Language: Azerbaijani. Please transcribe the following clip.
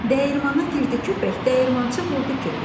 Dəyirmana girdi köpək, dəyirmançı vurdu kötək.